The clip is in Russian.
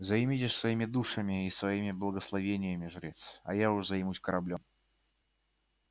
займитесь своими душами и своими благословениями жрец а уж я займусь кораблём